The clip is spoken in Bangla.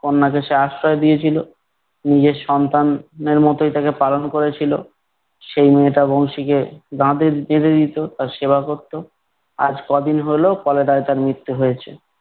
কন্যাকে সে আশ্রয় দিয়েছিল। নিজের সন্তান এর মতোই তাকে পালন করেছিল। সেই মেয়েটা বংশীকে দিত তার সেবা করত, আজ ক'দিন হল chlorella য় তার মৃত্যু হয়েছে ।